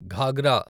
ghagra